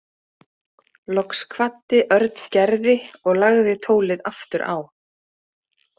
Loks kvaddi Örn Gerði og lagði tólið aftur á.